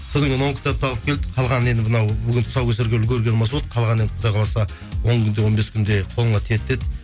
содан кейін он кітапты алып келдік қалғаны енді мынау бүгін тұсаукесерге үлгіргенім осы болды қалғаны енді құдай қаласа он күнде он бес күнде қолыңа тиеді деді